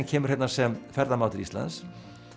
kemur hérna sem ferðamaður til Íslands